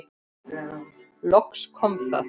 Loks kom það.